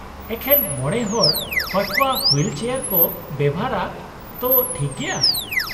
ᱮᱠᱷᱮᱱ ᱢᱚᱬᱮ ᱦᱚᱲ ᱯᱟᱹᱴᱷᱣᱟᱹ ᱦᱩᱭᱤᱞ ᱪᱮᱭᱟᱨ ᱠᱚ ᱵᱮᱣᱦᱟᱨᱼᱟ, ᱛᱚ, ᱴᱷᱤᱠ ᱜᱮᱭᱟ ᱾